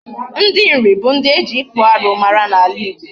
Ndị Nri bụ ndị eji ịkpụ arụ mara n'ala Igbo.